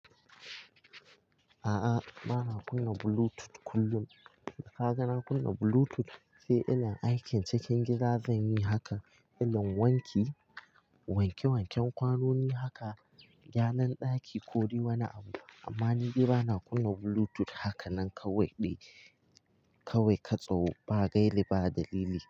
A'a, ba na kunna Bluetooth kullum. Ka ga na kunna Bluetooth sai ina aikin cikin gida zan yi haka ina wanke wanke wanken kwanoni haka, gyaran ɗaki ko wani abu. Amma ni gida ba na kunna Bluetooth haka nan kawai ɗaya kawai ka tso ba gaili ba dalili.